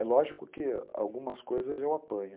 É lógico que algumas coisas eu apanho.